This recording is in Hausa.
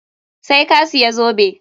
Sai ka siya zobe!